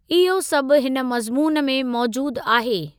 इहो सभु हिन मज़्मून में मौजूद आहे।